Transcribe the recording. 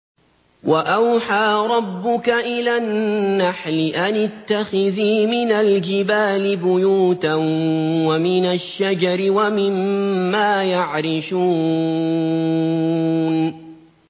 وَأَوْحَىٰ رَبُّكَ إِلَى النَّحْلِ أَنِ اتَّخِذِي مِنَ الْجِبَالِ بُيُوتًا وَمِنَ الشَّجَرِ وَمِمَّا يَعْرِشُونَ